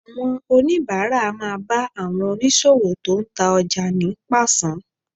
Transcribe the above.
Àwọn oníbàárà á máa bá àwọn oníṣòwò tó ń ta ọjà ní pàṣán